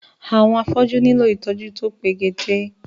Àwọn afọ́jú nílò ìtọ́jú to pegedé